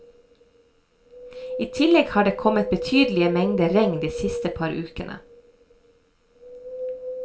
I tillegg har det kommet betydelige mengder regn de siste par ukene.